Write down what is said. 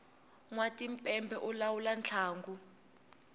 nwa timpepe u lawula ntlangu